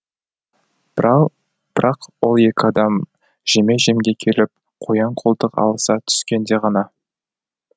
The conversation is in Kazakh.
бірақ ол екі адам жеме жемге келіп қоян қолтық алыса түскенде ғана